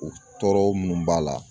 U tɔɔrɔ munnu b'a la.